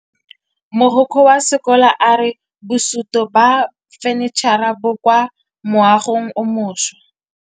Mogokgo wa sekolo a re bosutô ba fanitšhara bo kwa moagong o mošwa.